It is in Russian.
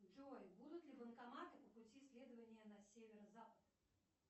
джой будут ли банкоматы по пути следования на северо запад